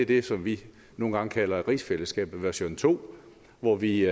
det som vi nogle gange kalder rigsfællesskabet version to hvor vi